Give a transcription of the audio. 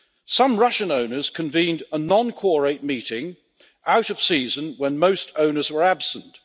Some Russian owners convened a non quorate meeting out of season when most owners were absent.